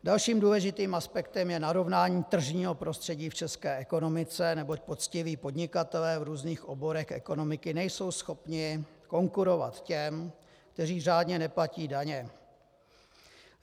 Dalším důležitým aspektem je narovnání tržního prostředí v české ekonomice, neboť poctiví podnikatelé v různých oborech ekonomiky nejsou schopni konkurovat těm, kteří řádně neplatí daně.